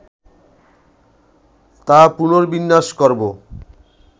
তা পুনর্বিন্যাস করবো”